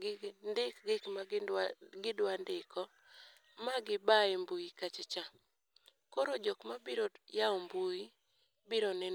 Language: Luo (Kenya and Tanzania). gi ndik gik ma gidwa ndiko ma giba e mbui kacha cha. Koro jok mabiro yawo mbui biro neno.